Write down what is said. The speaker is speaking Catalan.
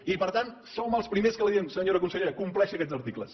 i per tant som els primers que li diem senyora consellera compleixi aquests articles